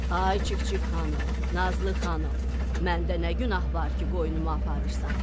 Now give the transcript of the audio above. "Ay Çik-çik xanım, Nazlı xanım, məndə nə günah var ki, qoynumu aparırsan?